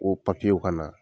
Ko ka na.